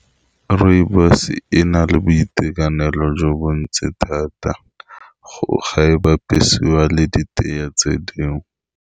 Rooibos-e e na le boitekanelo jo bo ntse thata go ga e bapisiwa le di teye tse dingwe.